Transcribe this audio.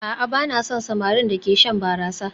A'a ba na son samarin da ke shan barasa